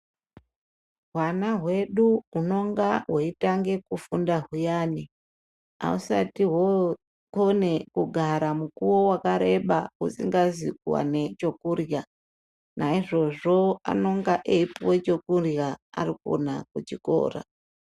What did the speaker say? Hwana hwedu hunonga hweitange kufunda huyani husati hwokone kugara mukuwo wakareba husingazi kuwane chekurya naizvizvo ananga eipuwa chekurya arikona kuchikora.